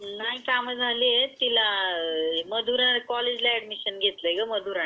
नाही कामा झाली आहे तिला मधुरा कॉलेज ला ऍडमिशन घेतली मुधरा नि.